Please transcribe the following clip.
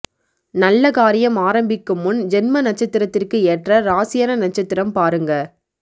நல்ல காரியம் ஆரம்பிக்கும் முன் ஜென்ம நட்சத்திரத்திற்கு ஏற்ற ராசியான நட்சத்திரம் பாருங்க